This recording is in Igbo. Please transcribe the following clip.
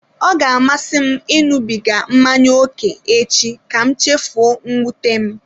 Ọ ga-amasị m ịṅụbiga mmanya ókè echi ka m chefuo mwute m.